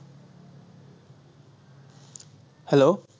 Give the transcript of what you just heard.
hello